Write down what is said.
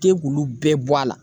K'e k'ulu bɛɛ bɔ a la.